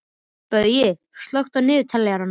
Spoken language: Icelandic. Baui, slökktu á niðurteljaranum.